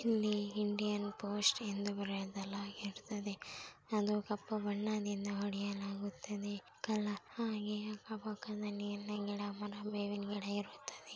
ಇಲ್ಲಿ Indian post ಎಂದು ಬರೆಯಲಾಗುತ್ತದೆ. ಅದು ಕಪ್ಪು ಬಣ್ಣದಿಂದ ಹೊಡೆಯಲಾಗುತ್ತದೆ. ಕಲರ್ ಹಾಗೆ ಅಕ್ಕ ಪಕ್ಕದಲ್ಲಿ ಎಲ್ಲ ಗಿಡ ಮರ ಬೆವಿನ್ ಗಿಡ ಇರುತ್ತದೆ.